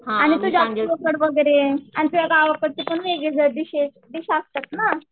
आणि तुझ्या आणि तुझ्या गावाकडचे वेगळी जरा डिश डिश असतात ना.